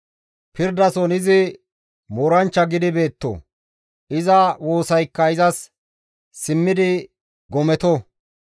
Pirdason izi mooranchcha gidi beetto; iza woosaykka izas simmidi gometo!